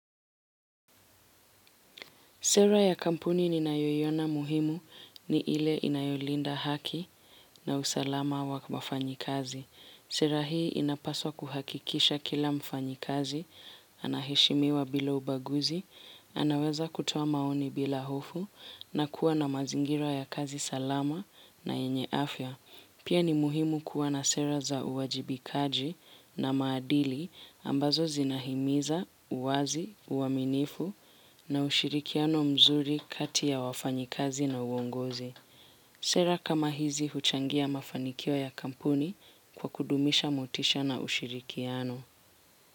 Sera ya kampuni ninaiyoyona muhimu ni ile inayolinda haki na usalama wa mafanyi kazi. Sera hii inapaswa kuhakikisha kila mfanyi kazi, anaheshimiwa bila ubaguzi, anaweza kutoa maoni bila hofu, na kuwa na mazingira ya kazi salama na yenye afya. Pia ni muhimu kuwa na sera za uwajibikaji na maadili, ambazo zinahimiza, uwazi, uaminifu na ushirikiano mzuri kati ya wafanyikazi na uongozi. Sera kama hizi huchangia mafanikio ya kampuni kwa kudumisha motisha na ushirikiano.